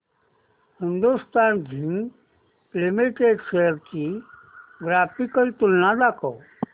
Hindustan zinc limited shares ची graphical तुलना दाखव